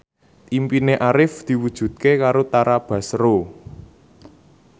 impine Arif diwujudke karo Tara Basro